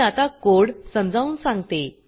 मी आता कोड समजावून सांगते